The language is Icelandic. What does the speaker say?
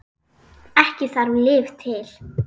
Ekki þarf lyf til.